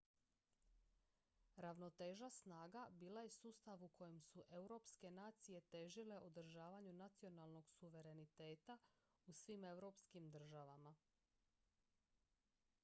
ravnoteža snaga bila je sustav u kojem su europske nacije težile održavanju nacionalnog suvereniteta u svim europskim državama